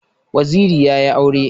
Waziri yayi aure